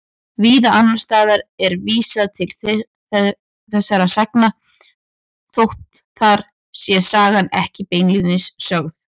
Víða annars staðar er vísað til þessara sagna þótt þar sé sagan ekki beinlínis sögð.